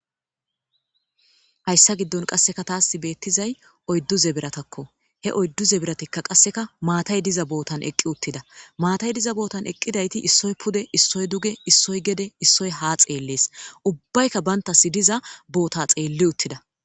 Hayssa giddon kaseka tas bettizayssi oyddu zebratakko. he oyddu zebrati qassekka maattay diza bottan eqidi uttida.maattay diza bottan eqidayti issoy pude, ossoy gede,issoy duge,issoy haa eqidi xelettees.ubbaykka bantas diza botta xeeli uttida.